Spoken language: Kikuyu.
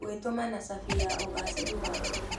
Gwĩtũma nĩ cabi ya ũgacĩĩru waku.